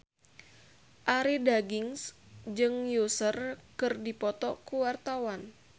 Arie Daginks jeung Usher keur dipoto ku wartawan